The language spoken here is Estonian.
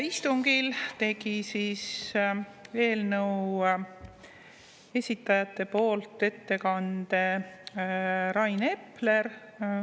Istungil tegi eelnõu esitajate poolt ettekande Rain Epler.